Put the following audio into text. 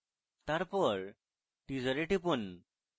তারপর teaser এ টিপুন